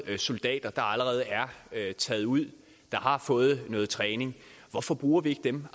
soldater der allerede er taget ud og har fået noget træning hvorfor bruger vi ikke dem